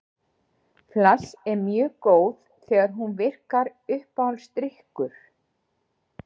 Útgangspunktur hans eru tvö atriði: lífið er ávallt fullt af angist og örvæntingu.